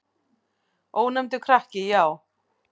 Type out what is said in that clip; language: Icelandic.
Ónefndur krakki: Já.